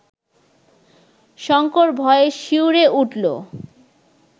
শঙ্কর ভয়ে শিউরে উঠল